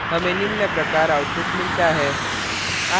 हमें निम्न प्रकार output मिलता है